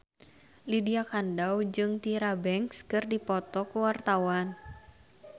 Lydia Kandou jeung Tyra Banks keur dipoto ku wartawan